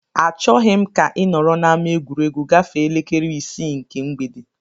Achọghị m ka ị nọrọ n'ama egwuregwu gafee elekere isii nke mgbede!